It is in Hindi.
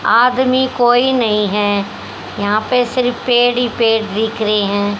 आदमी कोई नही है यहां पे सिर्फ पेड़ ही पेड़ दिख रहे है।